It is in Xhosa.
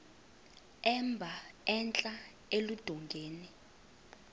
emba entla eludongeni